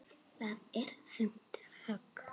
Það er þungt högg.